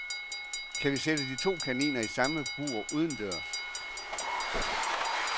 Kan vi sætte de to kaniner i samme bur udendørs.